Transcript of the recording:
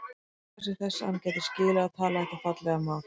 Óskaði sér þess að hann gæti skilið og talað þetta fallega mál.